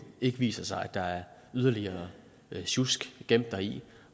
ikke viser sig at der er yderligere sjusk gemt deri